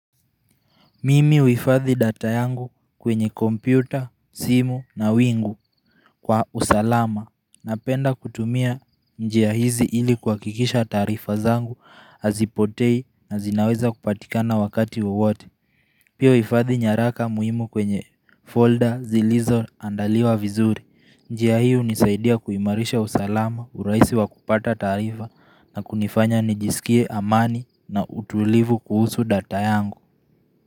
Mimi huifadhi data yangu kwenye kompyuta, simu na wingu kwa usalama napenda kutumia njia hizi ili kuhakikisha taarifa zangu hazipotei na zinaweza kupatikana wakati wowote. Pia huifadhi nyaraka muhimu kwenye folder zilizoandaliwa vizuri. Njia hiyo hunisaidia kuimarisha usalama uraisi wa kupata taarifa na kunifanya nijisikie amani na utulivu kuhusu data yangu.